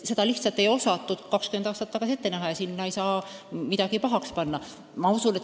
Seda lihtsalt ei osatud 20 aastat tagasi ette näha ja seda ei saa kuidagi pahaks panna.